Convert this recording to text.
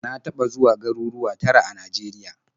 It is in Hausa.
Na taɓa zuwa garuruwa tara a Najeriya.